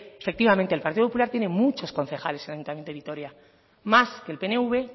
efectivamente el partido popular tiene muchos concejales en el ayuntamiento de vitoria más que el pnv